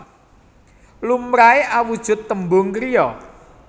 Lumrahe awujud tembung kriya